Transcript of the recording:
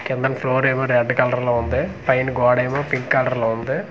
కిందన ఫ్లోర్ ఏమో red colour లో ఉంది పైన గోడ ఏమో పింక్ కలర్ లో ఉంది.